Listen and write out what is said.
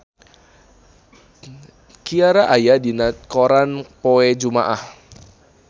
Ciara aya dina koran poe Jumaah